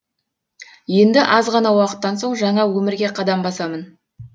енді аз ғана уақыттан соң жаңа өмірге қадам басамын